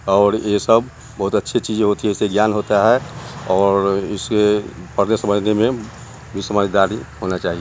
और ए सब बहुत अच्छी चीज होती है इससे ज्ञान होता है और इसे पड़ने समझने में भी समझदारी होना चाहिए।